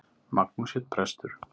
Magnús hét prestur.